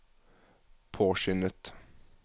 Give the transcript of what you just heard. påskyndet